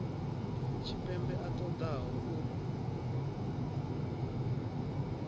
tshipembe a ṱo ḓaho u